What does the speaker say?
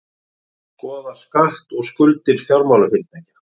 Skoða skatt á skuldir fjármálafyrirtækja